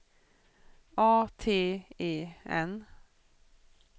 A T E N